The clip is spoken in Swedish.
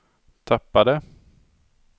tappade